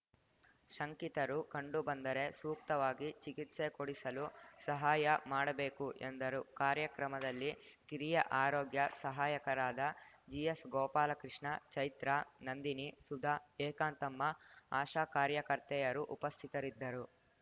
ಶಂಕಿತರು ಕಂಡು ಬಂದರೆ ಸೂಕ್ತವಾಗಿ ಚಿಕಿತ್ಸೆ ಕೊಡಿಸಲು ಸಹಾಯ ಮಾಡಬೇಕು ಎಂದರು ಕಾರ್ಯಕ್ರಮದಲ್ಲಿ ಕಿರಿಯ ಆರೋಗ್ಯ ಸಹಾಯಕರಾದ ಜಿಎಸ್‌ ಗೋಪಾಲಕೃಷ್ಣ ಚೈತ್ರಾ ನಂದಿನಿ ಸುಧಾ ಏಕಾಂತಮ್ಮ ಆಶಾ ಕಾರ್ಯಕರ್ತೆಯರು ಉಪಸ್ಥಿತರಿದ್ದರು